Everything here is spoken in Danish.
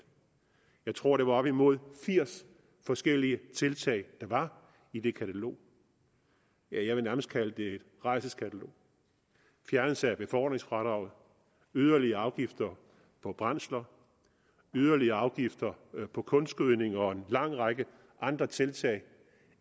jeg tror det var op imod firs forskellige tiltag der var i det katalog jeg vil nærmest kalde det et rædselskatalog fjernelse af befordringsfradraget yderligere afgifter på brændsler yderligere afgifter på kunstgødning og en lang række andre tiltag